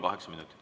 Kaheksa minutit.